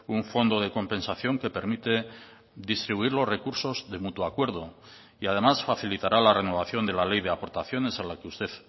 un fondo de compensación que permite distribuir los recursos de mutuo acuerdo y además facilitará la renovación de la ley de aportaciones a la que usted